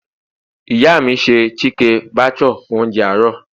ìyá mi ṣe chike bhature fún ounjẹ àárò